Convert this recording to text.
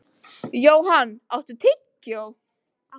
Johan, áttu tyggjó?